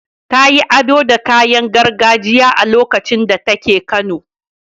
Ta yi ado da kayan gargajiya a lokacin da take kano.